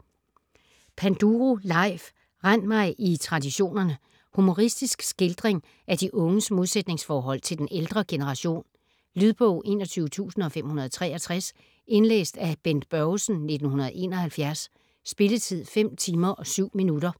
Panduro, Leif: Rend mig i traditionerne Humoristisk skildring af de unges modsætningsforhold til den ældre generation. Lydbog 21563 Indlæst af Bent Børgesen, 1971. Spilletid: 5 timer, 7 minutter.